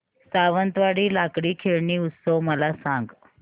सावंतवाडी लाकडी खेळणी उत्सव मला सांग